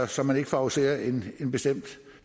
så man ikke favoriserer en en bestemt